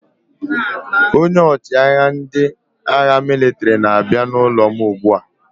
Onye ọchịagha ndị agha mịlịtrị na-abịa n'ụlọ m ugbu a.